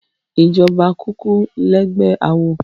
Ijòbá ókúkú lègbè àwó